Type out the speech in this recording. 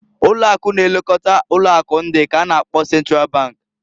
Ụlo̼ akụ na-elekota ụlọ akụ ndị k'a na-akpọ Central Bank.